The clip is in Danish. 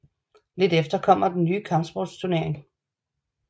Lidt efter kommer den nye kampsportstunering